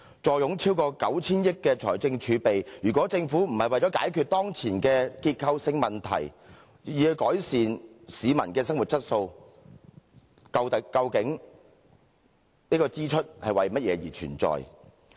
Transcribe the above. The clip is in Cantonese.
坐擁超過 9,000 億元的財政儲備，如果政府不是為了解決當前的結構性問題，以改善市民的生活質素，究竟這支出是為了甚麼而存在？